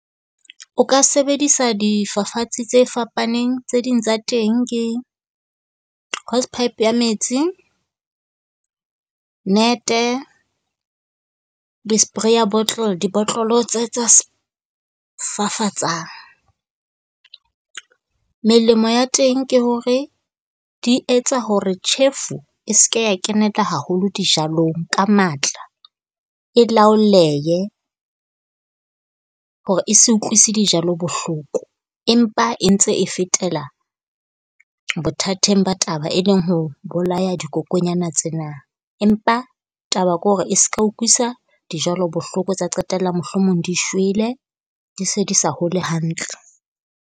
O ka sebedisa difafatsi tse fapaneng. Tse ding tsa teng ke hoe pipe ya metsi. Net-e, di-spray-a bottle, dibotlolo tse tsa fafatsang. Melemo ya teng ke hore di etsa hore tjhefu e se ke ya keneka haholo dijalong ka matla, e laolehe. Hore e se utlwisise dijalo bohloko, empa e ntse e fetela bothateng ba taba e leng ho bolaya dikokonyana tsena, empa taba ke hore e se ka ukwisisa dijalo bohloko. Tsa qetella mohlomong di shwele di se di sa hole hantle.